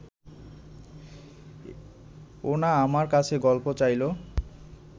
ও না আমার কাছে গল্প চাইল